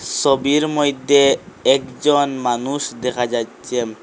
সবির মইদ্যে একজন মানুষ দেখা যাচ্চে।